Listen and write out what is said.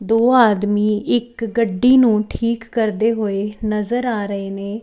ਦੋ ਆਦਮੀ ਇੱਕ ਗੱਡੀ ਨੂੰ ਠੀਕ ਕਰਦੇ ਹੋਏ ਨਜ਼ਰ ਆ ਰਹੇ ਨੇ।